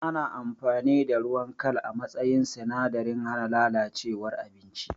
Ana amfani da ruwan kal a matsayin sinadarin hana lalacewar abinci